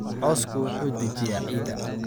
Cawsku wuxuu dejiyaa ciidda.